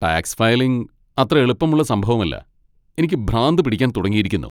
Tax filing അത്ര എളുപ്പമുള്ള സംഭവമല്ല , എനിക്ക് ഭ്രാന്ത് പിടിക്കാൻ തുടങ്ങിയിരിക്കുന്നു!